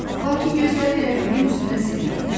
Lakin gözləri rəqibin üzünə zillənmişdi.